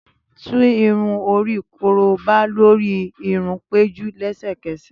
Tú irun-ori koroba lori irun Peju lẹsẹkẹsẹ!